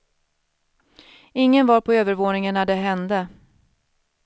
Ingen var på övervåningen när det hände.